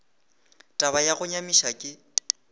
taba ya go nyamiša ke